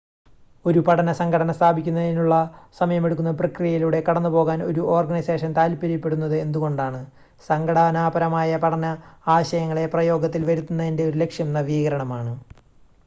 ഒരു പഠന സംഘടന സ്ഥാപിക്കുന്നതിനുള്ള സമയമെടുക്കുന്ന പ്രക്രിയയിലൂടെ കടന്നുപോകാൻ ഒരു ഓർഗനൈസേഷൻ താൽപ്പര്യപ്പെടുന്നത് എന്തുകൊണ്ടാണ് സംഘടനാപരമായ പഠന ആശയങ്ങളെ പ്രയോഗത്തിൽ വരുത്തുന്നതിൻ്റെ ഒരു ലക്ഷ്യം നവീകരണമാണ്